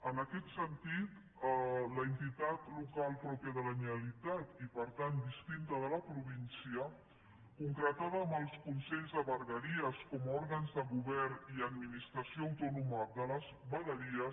en aquest sentit l’entitat local pròpia de la generalitat i per tant distinta de la província concretada en els consells de vegueries com a òrgans de govern i administració autònoma de les vegueries